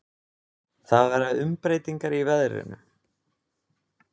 Það verða umbreytingar í veðrinu.